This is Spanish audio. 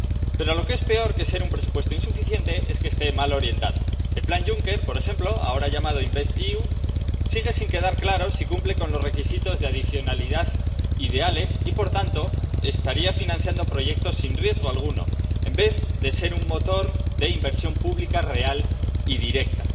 Pero peor que ser un presupuesto insuficiente es que esté mal orientado. Por lo que respecta al plan Juncker, por ejemplo, ahora llamado InvestEU, sigue sin quedar claro si cumple con los requisitos de adicionalidad ideales y, por tanto, estaría financiando proyectos sin riesgo alguno, en vez de ser un motor de inversión pública real y directa.